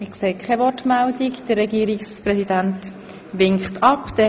Es gibt keine Wortmeldungen, der Regierungspräsident verzichtet ebenfalls auf das Wort.